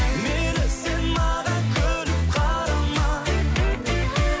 мейлі сен маған күліп қарама